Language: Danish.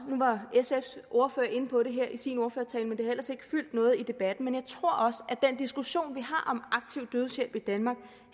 sfs ordfører inde på det i sin ordførertale men det har ellers ikke fyldt noget i debatten men jeg tror også at den diskussion vi har om aktiv dødshjælp i danmark